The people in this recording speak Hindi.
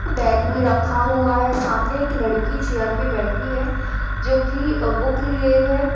बैग भी रखा हुआ है। सामने एक लड़की चेयर पर बैठी है जो कि बुक लिए है।